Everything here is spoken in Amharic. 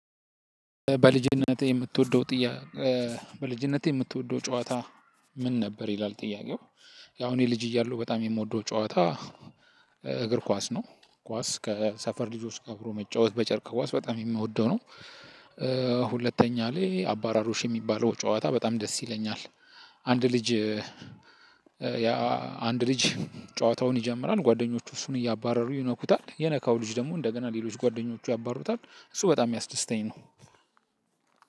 በልጅነትህ የምትወደው ጥያ በልጅነትህ የምትወደው ጨዋታ ምን ነበር ይላል? ጥያቄው። ያው እኔ ልጅ እያለው በጣም የምወደው ጨዋታ። እግር ኳስ ነው ኳስ ከሰፈር ልጆች ጋር አብሮ መጫወት በጨርቅ ኳስ በጣም የምወደው ነው። ሁለተኛ ላይ አባራሮሽ የሚባለው ጨዋታ በጣም ደስ ይለኛል። አንድ ልጅ አንድ ልጅ ጨዋታውን ይጀምራል ጓደኞቹ እሱን እያባረሩ ይነኩታል የነካው ልጅ ደግሞ እንደገና ሌሎች ጓደኞቹ ያባሩታል እሱ በጣም ያስደስተኝ ነው።